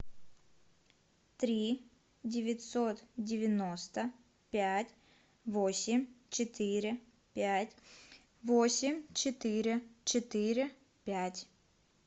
три девятьсот девяносто пять восемь четыре пять восемь четыре четыре пять